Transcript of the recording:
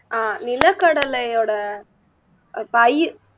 அஹ் நிலக்கடலையோட பயி